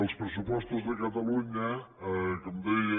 els pressupostos de catalunya com deia